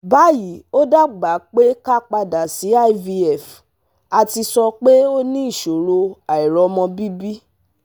bayi o daba pe ka padà sí IVF àti sọ pé ó ní ìṣòro àìromọ̀ bibi